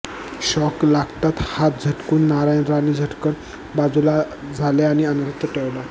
shock लागतात हात झटकून नारायण राणे झटकन बाजूला झाले आणि अनर्थ टळला